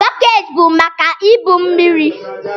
Bọket bu maka ibu mmiri.